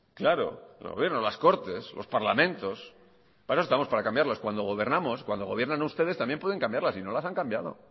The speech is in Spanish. claro el gobierno las cortes los parlamentos para eso estamos para cambiarlas cuando gobernamos cuando gobiernan ustedes también pueden cambiarlas y no las han cambiado